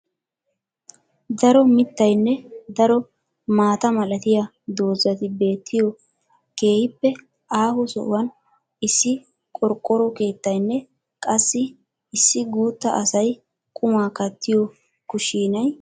Daro mittaynne daro maata malatiya doozati beetiyo keehippe aaho sohuwan issi qorqqoro keettaynne qassi issi guutta asay qumaa kattiyo kushshiinay de'ees.